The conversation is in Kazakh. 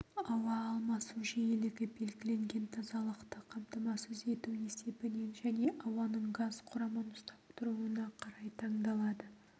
ауа алмасу жиілігі белгіленген тазалықты қамтамасыз ету есебінен және ауаның газ құрамын ұстап тұруына қарай таңдалады